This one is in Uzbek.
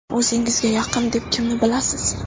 O‘zingizga yaqin deb kimni bilasiz?